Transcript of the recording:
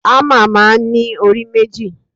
Hámà máa ń ní orí méjì.